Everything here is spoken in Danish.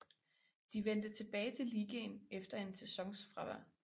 De vendte tilbage til ligaen efter en sæsons fravær